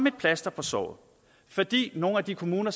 et plaster på såret fordi nogle af de kommuner